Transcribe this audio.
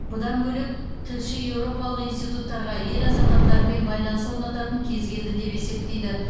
бұдан бөлек тілші еуропалық институттарға ел азаматтарымен байланыс орнататын кез келді деп есептейді